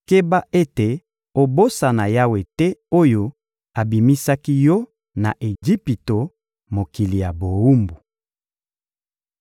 keba ete obosana Yawe te oyo abimisaki yo na Ejipito, mokili ya bowumbu.